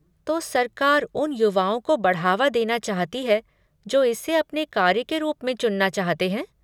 तो सरकार उन युवाओं को बढ़ावा देना चाहती है जो इसे अपने कार्य के रूप में चुनना चाहते हैं।